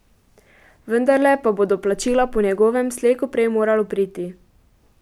Vendarle pa bo do plačila po njegovem slej ko prej moralo priti.